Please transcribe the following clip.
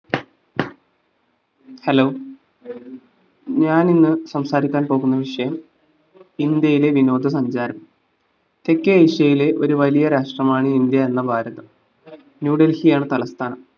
hello ഞാൻ ഇന്ന് സംസാരിക്കാൻ പോവുന്ന വിഷയം ഇന്ത്യയിലെ വിനോദസഞ്ചാരം തെക്കേ ഏഷ്യയിലെ ഒര് വലിയ രാഷ്ട്രമാണ്‌ ഇന്ത്യ എന്ന ഭാരതം ന്യൂഡെൽഹിയാണ് തലസ്ഥാനം